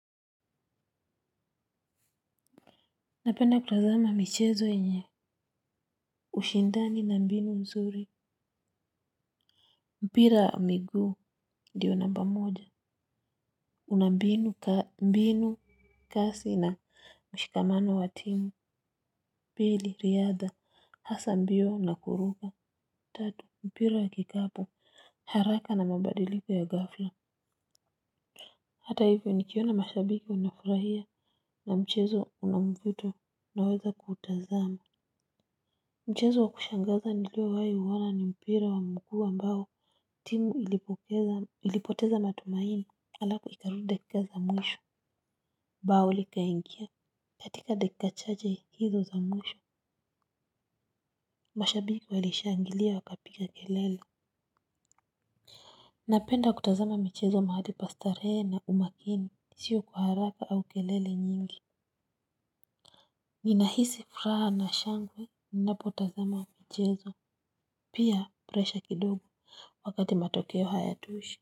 Napenda kutazama michezo yenye ushindani na mbinu nzuri. Mpira wa miguu ndio namba moja. Una mbinu kasi na mshikamano wa timu. Bili riadha hasa mbio na kuruka. Tatu mpira ya kikapu. Haraka na mabadiliko ya gafla. Hata hivyo nikiona mashabiki wanafurahia na mchezo una mvuto naweza kutazama. Mchezo wa kushangaza nilio wahi uona ni mpira wa mguu ambao timu ilipoteza matumaini alafu ikarudi dakika za mwisho bao likaingia katika dakika chache hizo za mwisho mashabiki walishangilia wakapiga kelele. Napenda kutazama michezo mahali pa starehe na umakini sio kwa haraka au kelele nyingi. Nina hisi furaha na shangwe ninapotazama michezo pia presha kidogo wakati matokeo hayatoshi. Kwa hivyo.